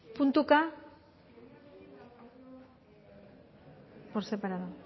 puntuka por separado